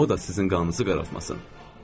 O da sizin qanınızı qaraltmasın.